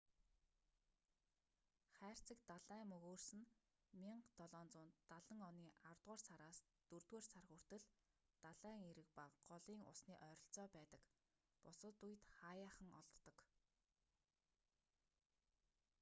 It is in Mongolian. хайрцаг далайн мөгөөрс нь 1770 оны аравдугаар сараас дөрөвдүгээр сар хүртэл далайн эрэг ба голын усны ойролцоо байдаг бусад үед хааяахан олддог